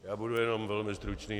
Já budu jenom velmi stručný.